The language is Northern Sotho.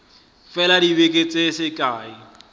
fela dibeke di se kae